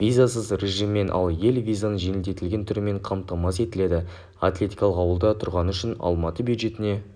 визасыз режіммен ал ел визаның жеңілдетілген түрімен қамтамасыз етіледі атлетикалық ауылда тұрғаны үшін алматы бюджетіне